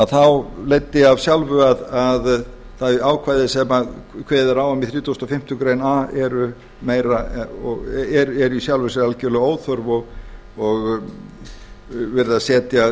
þá leiddi af sjálfu að bæði ákvæði sem kveðið er á um í þrítugasta og fimmtu grein a er í sjálfu sér algjörlega óþörf og verið að setja